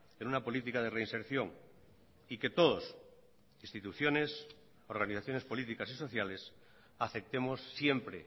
en una política de reinserción y que todos instituciones organizaciones políticas y sociales aceptemos siempre